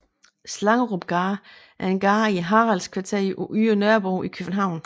Slangerupgade er en gade i Haraldsgadekvarteret på Ydre Nørrebro i København